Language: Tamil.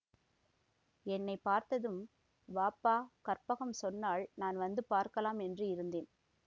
என்னை பார்த்ததும் வாப்பா கற்பகம் சொன்னாள் நான் வந்து பார்க்கலாம் என்று இருந்தேன்